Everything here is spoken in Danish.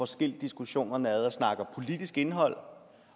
skilt diskussionerne ad og snakkede politisk indhold